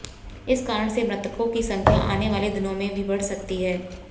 इस कारण से मृतकों की संख्या आनेवाले दिनों में बढ़ भी सकती है